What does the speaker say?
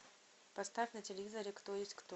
поставь на телевизоре кто есть кто